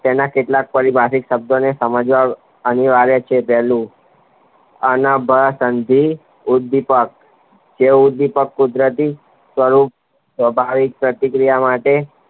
તેના કેટલાક પરી ભાષિક શબ્દોને સમજવા એનીવાર્યા છે પેલું ઉદ્દીપકજે ઉદ્દીપક કુદરતી સ્વરૂપ સવાભાવિત પ્રતિક્રિયા માટે